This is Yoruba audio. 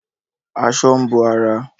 Aṣọ ń bo ara